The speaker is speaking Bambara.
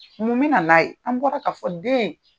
Mun mi na na n'a ye an bɔra k'a fɔ den.